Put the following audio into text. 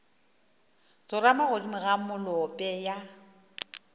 tsorama godimo ga molope ya